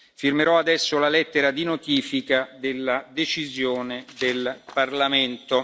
Firmerò adesso la lettera di notifica della decisione del Parlamento.